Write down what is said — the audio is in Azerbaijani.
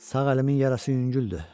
Sağ əlimin yarası yüngüldür.